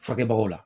Furakɛbagaw la